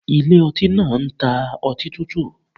Ilé ọtí náà ń ta ọtí tútù.